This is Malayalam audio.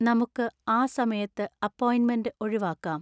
നമുക്ക് ആ സമയത്ത് അപ്പോയിന്റ്മെന്റ് ഒഴിവാക്കാം